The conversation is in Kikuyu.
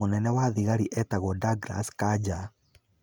Mũnene wa thigari etagwo Douglas Kanja.